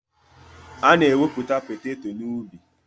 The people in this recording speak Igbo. Ana ewepụta poteto na ubi.